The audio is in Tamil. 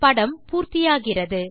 படம் பூர்த்தி ஆகிறது